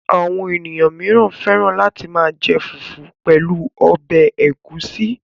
Àwọn ènìyàn mìíràn fẹ́ràn láti máa jẹ fùfú pẹ̀lú ọbẹ̀ ẹ̀gúsí.